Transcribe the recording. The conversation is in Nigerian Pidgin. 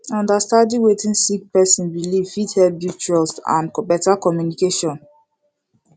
understanding wetin sik person biliv fit hep build trust and better communication